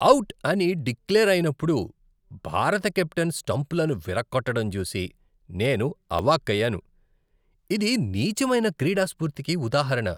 Out అని declare అయినప్పుడు భారత కెప్టెన్ స్టంపులను విరగ్గొట్టడం చూసి నేను అవాక్కయ్యాను, ఇది నీచమైన క్రీడాస్పూర్తికి ఉదాహరణ.